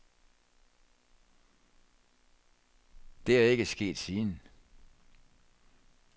Det er ikke sket siden.